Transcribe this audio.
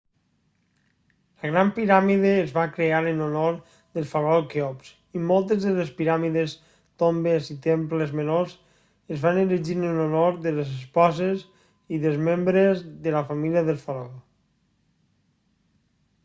la gran piràmide es va crear en honor del faraó kheops i moltes de les piràmides tombes i temples menors es van erigir en honor de les esposes i dels membres de la família del faraó